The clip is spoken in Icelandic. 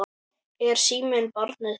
Er síminn barnið þitt?